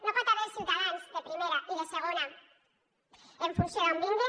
no hi pot haver ciutadans de primera i de segona en funció d’on vinguen